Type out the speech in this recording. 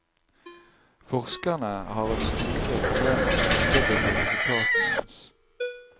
Forskerne har hatt store problemer med å underbygge resultatene hans.